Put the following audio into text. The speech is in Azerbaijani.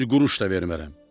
Bir quruş da vermərəm.